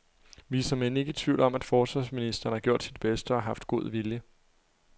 Vi er såmænd ikke i tvivl om, at forsvarsministeren har gjort sit bedste og har haft god vilje.